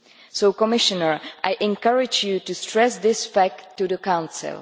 So, Commissioner, I encourage you to stress this fact to the Council.